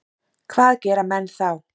Hvað gera menn þá?